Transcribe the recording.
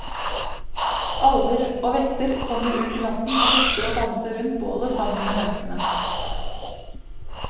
Alver og vetter kommer ut i natten og fester og danser rundt bålet sammen med menneskene.